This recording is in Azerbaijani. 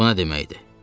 Buna nə deməkdir?